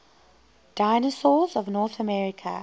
dinosaurs of north america